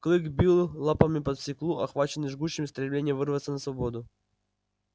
клык бил лапами по стеклу охваченный жгучим стремлением вырваться на свободу